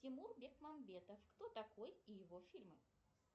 тимур бекмамбетов кто такой и его фильмы